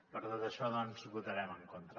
per tot això doncs hi votarem en contra